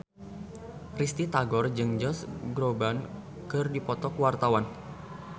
Risty Tagor jeung Josh Groban keur dipoto ku wartawan